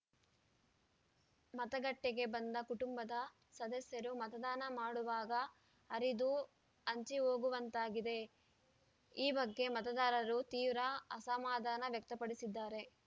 ಮತಗಟ್ಟೆಗೆ ಬಂದ ಕುಟುಂಬದ ಸದಸ್ಯರು ಮತದಾನ ಮಾಡುವಾಗ ಹರಿದು ಹಂಚಿಹೋಗುವಂತಾಗಿದೆ ಈ ಬಗ್ಗೆ ಮತದಾರರು ತೀವ್ರ ಅಸಮಾಧಾನ ವ್ಯಕ್ತಪಡಿಸಿದ್ದಾರೆ